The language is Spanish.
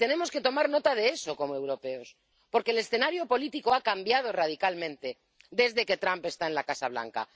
Y tenemos que tomar nota de eso como europeos, porque el escenario político ha cambiado radicalmente desde que Trump está en la Casa Blanca.